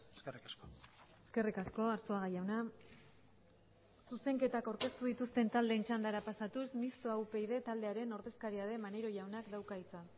eskerrik asko eskerrik asko arzuaga jauna zuzenketak aurkeztu dituzten taldeen txandara pasatuz mistoa upyd taldearen ordezkaria den maneiro jaunak dauka hitza